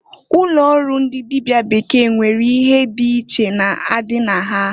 Ụlọ ọrụ ndi dịbịa bekee nwere ihe dị iche na-adị na ha.